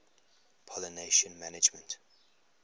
pollination management